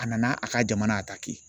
A nana a ka jamana